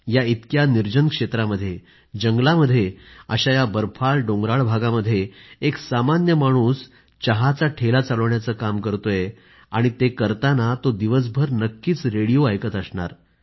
या इतक्या निर्जन क्षेत्रामध्ये जंगलामध्ये अशा या बर्फाळडोंगराळ भागामध्ये एक सामान्य माणूस चहाचा ठेला चालवण्याचं काम करतोय आणि ते करताना तो दिवसभर नक्कीच रेडिओ ऐकत असणार